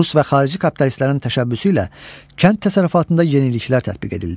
Rus və xarici kapitalistlərin təşəbbüsü ilə kənd təsərrüfatında yeniliklər tətbiq edildi.